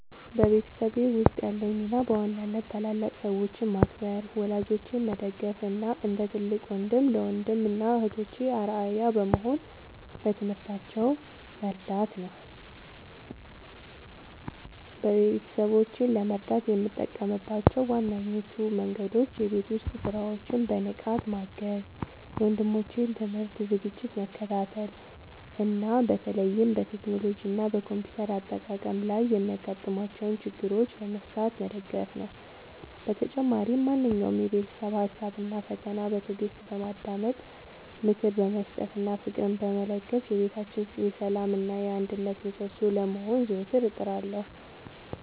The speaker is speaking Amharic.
በቤተሰቤ ውስጥ ያለኝ ሚና በዋናነት ታላላቅ ሰዎችን ማክበር፣ ወላጆቼን መደገፍ እና እንደ ትልቅ ወንድም ለወንድም እና እህቶቼ አርአያ በመሆን በትምህርታቸው መርዳት ነው። ቤተሰቦቼን ለመርዳት የምጠቀምባቸው ዋነኞቹ መንገዶች የቤት ውስጥ ሥራዎችን በንቃት ማገዝ፣ የወንድሞቼን የትምህርት ዝግጅት መከታተል እና በተለይም በቴክኖሎጂ እና በኮምፒውተር አጠቃቀም ላይ የሚያጋጥሟቸውን ችግሮች በመፍታት መደገፍ ነው። በተጨማሪም ማንኛውንም የቤተሰብ ሀሳብ እና ፈተና በትዕግስት በማዳመጥ፣ ምክር በመስጠት እና ፍቅርን በመለገስ የቤታችን የሰላም እና የአንድነት ምሰሶ ለመሆን ዘወትር እጥራለሁ።